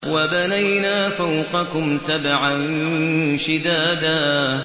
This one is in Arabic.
وَبَنَيْنَا فَوْقَكُمْ سَبْعًا شِدَادًا